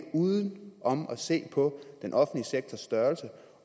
uden om at se på den offentlige sektors størrelse